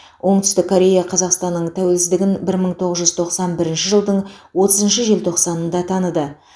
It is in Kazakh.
оңтүстік корея қазақстанның тәуелсіздігін бір мың тоғыз жүз тоқсан бірінші жылдың отызыншы желтоқсанында таныды